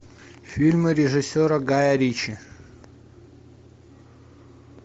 фильмы режиссера гая ричи